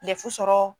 sɔrɔ